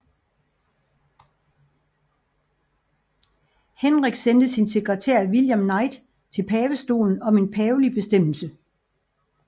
Henrik sendte sin sekretær William Knight til pavestaten om en pavelig bestemmelse